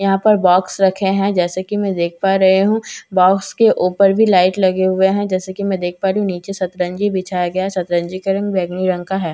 यहा पर बॉक्स रखे है जैसे कि मैं देख पा रही हूँ बॉक्स के ऊपर भी लाइट लगे हुए है जैसे कि मैं देख पा रही हूँ निचे सतरंजी बिछाया गया है सतरंजी का रंग बैंगनी रंग का है।